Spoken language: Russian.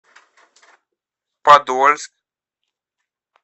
подольск